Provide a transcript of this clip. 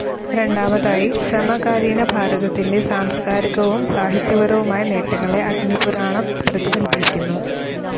രണ്ടാമതായി, സമകാലീനഭാരതത്തിന്റെ സാംസ്കാരികവും സാഹിത്യപരവുമായ നേട്ടങ്ങളെ അഗ്നിപുരാണം പ്രതിഫലിപ്പിക്കുന്നു.